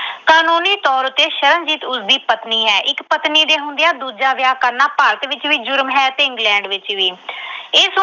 ਕਾਨੂੰਨੀ ਤੌਰ ਤੇ ਸ਼ਰਨਜੀਤ ਉਸਦੀ ਪਤਨੀ ਹੈ। ਇੱਕ ਪਤਨੀ ਦੇ ਹੁੰਦਿਆਂ ਦੂਜਾ ਵਿਆਹ ਕਰਨਾ ਭਾਰਤ ਵਿੱਚ ਵੀ ਜੁਰਮ ਹੈ ਤੇ England ਵਿੱਚ ਵੀ।